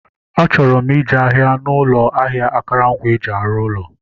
Achọrọ m ije ahịa n'ụlọ ahịa akụrụngwa eji arụ ụlọ